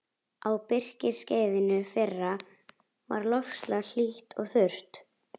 Á birkiskeiðinu fyrra var loftslag hlýtt og þurrt.